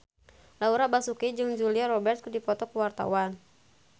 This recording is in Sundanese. Laura Basuki jeung Julia Robert keur dipoto ku wartawan